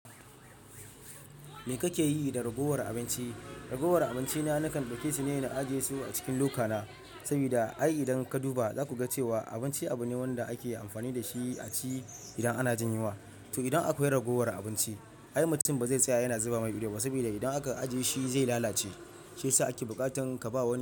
Me kake yi da ragowar abinci? Ragowar abinci na nakan ɗauke shi ne na ajiye su a cikin lokana saboda ai idan ka duba zaku ga cewa abinci abu ne wanda ake amfani dashi a ci idan ana jinyunwa. To idan akwai ragowar abinci ai mutum ba zai tsaya yana zuba mai idanu ba saboda idan aka ajiye shi zai lalace. Shi yasa ake buƙatan ka ba wani.